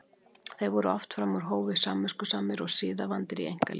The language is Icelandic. Þeir voru oft fram úr hófi samviskusamir og siðavandir í einkalífi.